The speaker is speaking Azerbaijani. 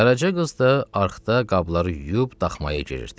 Qaraca qız da arxda qabları yuyub daxmaya girirdi.